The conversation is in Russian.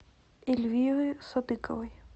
эльвиры садыковой